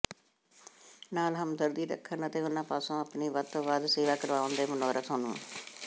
ਨਾਲ ਹਮਦਰਦੀ ਰੱਖਣ ਅਤੇ ਉਨ੍ਹਾਂ ਪਾਸੋਂ ਆਪਣੀ ਵੱਧ ਤੋਂ ਵੱਧ ਸੇਵਾ ਕਰਵਾਉਣ ਦੇ ਮਨੋਰਥ ਨੂੰ